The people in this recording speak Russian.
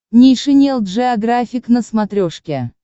нейшенел джеографик на смотрешке